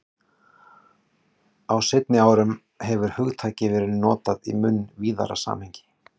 Á seinni árum hefur hugtakið verið notað í mun víðara samhengi.